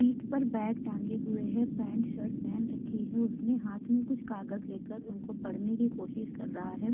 पीठ पर बैग त टाँगे हुए हैं। पेंट शर्ट पेहन रखी है उसने। हाथ मै कुछ कागज ले कर उनको पढ़ने कि कोशिश कर रहा है।